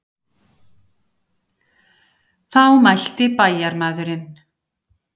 Þá mælti bæjarmaðurinn.